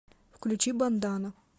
включи бандана